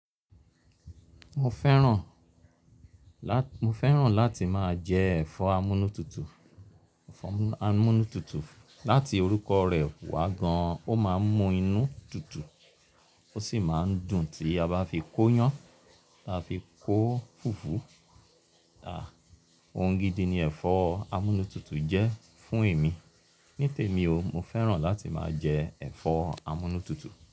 Mo fẹ́ràn láti máa jẹ ẹ̀fọ́ amúnútutù. Láti orúkọ rẹ̀ wá gan-an, ó máa ń mú inú tutù, ó sì máa ń dùn tí a bá fi kóyán ta fi kó fùfú. Ohun gidi ni ẹ̀fọ́ amúnútutù jẹ́ fún èmi. Ní tèmi o, mo fẹ́ràn láti máa jẹ ẹ̀fọ́ amúnútutù.